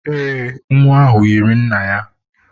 Ee, nwa ahụ yiri nna ya.